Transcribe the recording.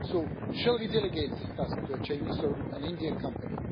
So, shall we delegate this task to a Chinese or an Indian company?